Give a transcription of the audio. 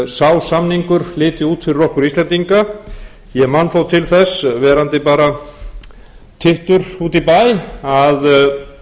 sá samningur liti út fyrir okkur íslendinga ég man þó til þess verandi bara tittur úti í bæ að